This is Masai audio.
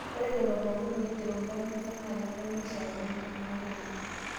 Ore lelo pookin oigero nkarn enye naa kenare neishakenoo ng'ok enye